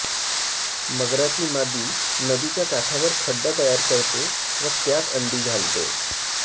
मगराची मादी नदीच्या काठावर खड्डा तयार करते व त्यात अंडी घालते